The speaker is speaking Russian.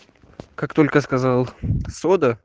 как только сказал сода